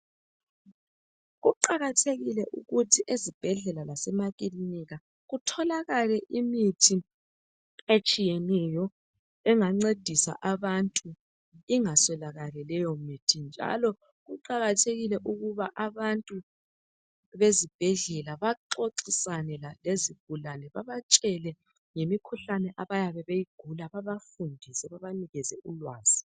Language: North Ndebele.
Kuqakathekile ukuthi ezibhedlela lasemakilinika kutholakale imithi etshiyeneyo engancedisa abantu, ingaswelakali leyo mithi. Njalo kuqakathekile ukuba abezibhedlela baxoxisane lezigulane babatshele ngemikhuhlane abayabe beyigula baxoxisane labo babanikeze ulwazi.